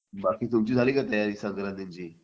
बाकी तुमची झाली का तयारी संक्रांतीची